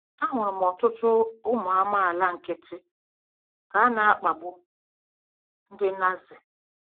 Ahụrụ m ọtụtụ ụmụ amaala nkịtị ka a na-akpagbu ndị Nazi.